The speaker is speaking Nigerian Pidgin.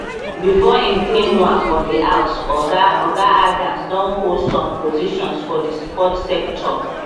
before im ten ure for di house oga oga adams don hold some positions for di sports sector